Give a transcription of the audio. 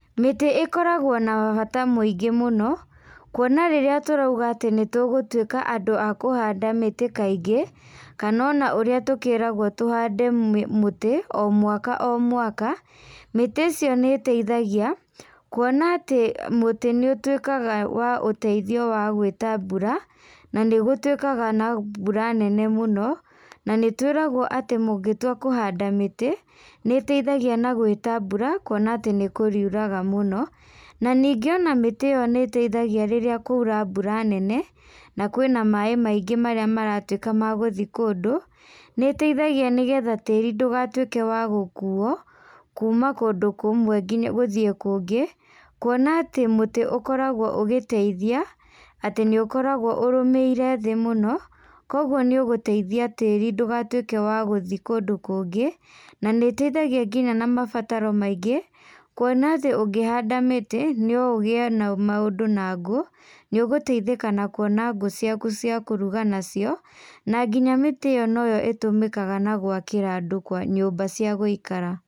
Mĩtĩ ĩkoragwo na bata mũingĩ mũno, kuona rĩrĩa tũrauga atĩ nĩtugĩtuĩka andũ a kũhanda mĩtĩ kaingĩ, kano ona ũrĩa tũkĩragwo tũhande mũtĩ o mwaka o mwaka, mĩtĩ ĩcio nĩ ĩteithagia, kuona atĩ mũtĩ nĩũtuĩkaga wa ũteithio wa gwĩta mbura, na nĩgũtuĩkaga na mbura nene mũno, na nĩtwĩragwo atĩ mũngĩtua kũhanda mĩtĩ, nĩteithagia na gwĩta mbura, kuona atĩ nĩkũrĩuraga mũno, na nĩngĩ ona mĩtĩ ĩyo nĩitethagia rĩrĩa kwaura mbura nene, na kwĩna maĩ maingĩ marĩa maratuĩka magũthiĩ kũndũ, nĩiteithagia nĩgetha tĩri ndũgatuĩke wa gũkuo, kuma kũndũ kũmwe nginya gũthiĩ kũngĩ, kuona atĩ mũtĩ ũkoragwo ũgĩteithia, atĩ nĩũkoragwo ũrũmĩire thĩ mũno, koguo nĩ ũgũteithia tĩri ndũgatuĩke wa gũthiĩ kũndũ kũngĩ, na nĩ ĩteithagia nginya na mabataro maingĩ, kuona atĩ ũngihanda mĩtĩ, no ũgie na maũndũ na ngũ, nĩũgũteithĩka na kuona ngũ ciaku cia kũruga nacio, na nginya mĩtĩ ĩyo noyo ĩtũmĩkaga na gwakĩra andũ nyũmba cia gũikara.